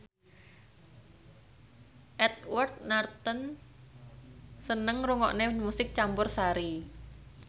Edward Norton seneng ngrungokne musik campursari